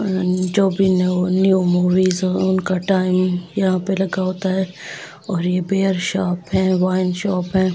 Movie song का time यहां पर लगा होता है और यह बियर शॉप है वाइन शॉप है।